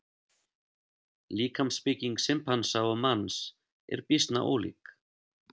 Líkamsbygging simpansa og manns er býsna ólík.